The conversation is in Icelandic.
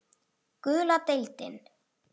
Gula deildin